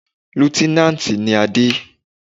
Líútínántì ni Adé